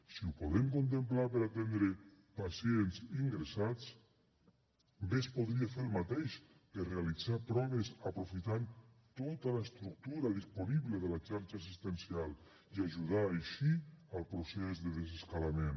si ho podem contemplar per a atendre pacients ingressats bé es podria fer el mateix per a realitzar proves aprofitant tota l’estructura disponible de la xarxa assistencial i ajudar així al procés de desescalada